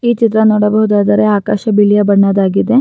ಈ ಚಿತ್ರ ನೋಡಬೋಹುದಾದ್ರೆ ಆಕಾಶ ಬಿಳಿಯ ಬಣ್ಣದಾಗಿದೆ.